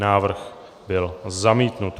Návrh byl zamítnut.